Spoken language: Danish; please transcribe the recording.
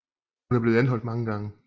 Hun er blevet anholdt mange gange